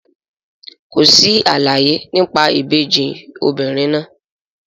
Kò sí àlàyé nípa ìbejì obìnrin náà.